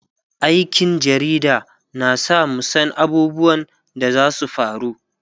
aikin jarida na sa mu San abubuwan da zasu faru